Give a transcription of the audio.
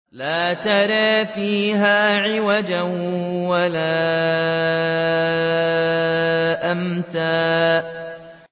لَّا تَرَىٰ فِيهَا عِوَجًا وَلَا أَمْتًا